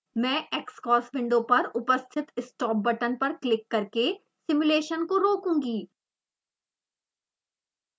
मैं xcos window पर उपस्थित stop बटन पर क्लिक करके सिमुलेशन को रोकूंगी